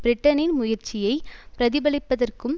பிரிட்டனின் முயற்சியை பிரதிபலிப்பதற்கும்